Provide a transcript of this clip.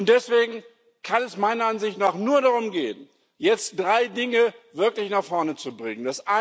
Deswegen kann es meiner Ansicht nach nur darum gehen, jetzt drei Dinge wirklich nach vorne zu bringen.